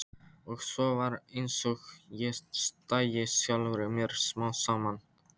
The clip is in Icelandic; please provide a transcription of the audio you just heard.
Og svo var einsog ég dæi sjálfri mér smám saman.